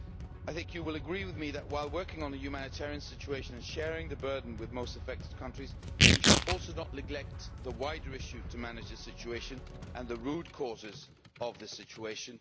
I think you will agree with me that, while working on the humanitarian situation and sharing the burden with the most affected countries, we should also not neglect the wider issue in relation to managing the situation and the root causes of the situation.